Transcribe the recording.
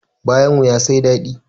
Bayan wuya sai dadi